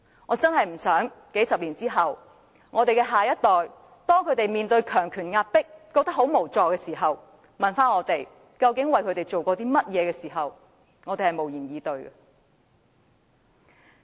我實在不希望在數十年後，當我們的下一代面對強權壓迫而感到無助，反問我們究竟為他們做過甚麼時，我們會無言以對。